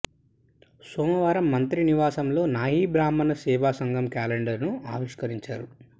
సోమవారం మంత్రి నివాసం లో నాయీ బ్రాహ్మణ సేవాసంఘం క్యాలెండర్ ను ఆవిష్కరించారు